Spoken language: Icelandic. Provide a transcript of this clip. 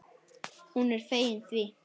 Hún er fegin því.